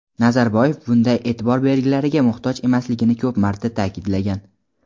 Nazarboyev bunday e’tibor belgilariga muhtoj emasligini ko‘p marta ta’kidlagan.